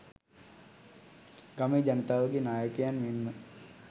ගමේ ජනතාවගේ නායකයන් මෙන්ම